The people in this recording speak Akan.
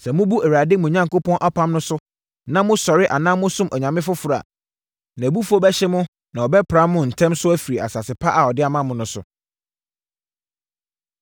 Sɛ mobu Awurade, mo Onyankopɔn apam no so na mosɔre anaa mosom anyame foforɔ a, nʼabufuo bɛhye mo na ɔbɛpra mo ntɛm so afiri asase pa a ɔde ama mo no so.”